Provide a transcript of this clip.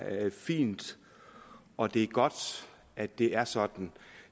fint og at det er godt at det er sådan